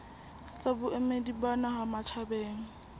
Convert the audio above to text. tsa boemedi ba naha matjhabeng